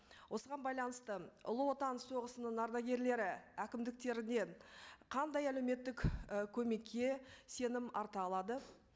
осыған байланысты ұлы отан соғысының ардагерлері әкімдіктерінен қандай әлеуметтік і көмекке сенім арта алады